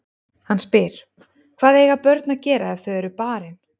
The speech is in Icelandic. Hann spyr: Hvað eiga börn að gera ef þau eru barin?